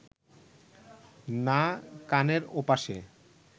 না কানের ওপাশে